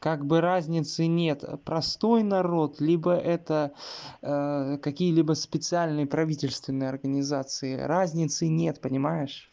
как бы разницы нет простой народ либо это какие-либо специальные правительственные организации разницы нет понимаешь